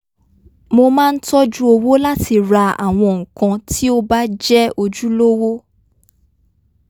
mo máa ń tọ́jú owó láti ra àwọn nǹkan tí ó bá jé̩ ojúlówó